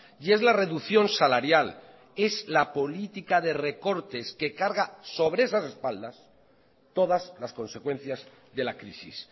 y es la reducción salarial es la política de recortes que carga sobre esas espaldas todas las consecuencias de la crisis